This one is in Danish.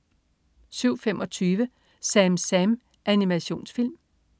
07.25 SamSam, Animationsfilm